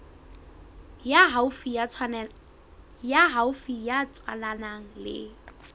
ya haufi ya tswalanang le